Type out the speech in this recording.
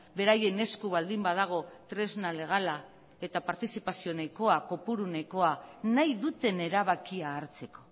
beraien esku baldin badago tresna legala eta partizipazio nahikoa kopuru nahikoa nahi duten erabakia hartzeko